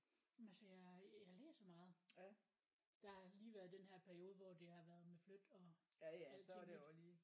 Men altså jeg jeg læser meget. Der har lige været den her periode hvor det har været med flyt og alting ik